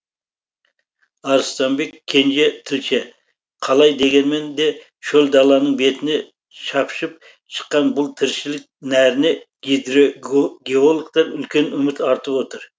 арыстанбек кенже тілші қалай дегенмен де шөл даланың бетіне шапшып шыққан бұл тіршілік нәріне гидрогеологтар үлкен үміт артып отыр